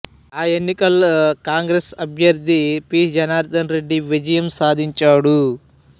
ఆ ఎన్నికలలో కాంగ్రెస్ అభ్యర్థి పి జనార్థనరెడ్డి విజయం సాధించాడు